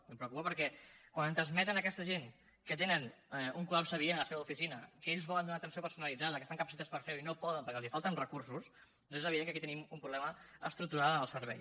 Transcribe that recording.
em preocupa perquè quan em transmeten aquesta gent que tenen un col·lapse diari a la seva oficina que ells volen donar atenció personalitzada que estan capacitats per fer ho i no poden perquè els falten recursos és evident que aquí tenim un problema estructural en el servei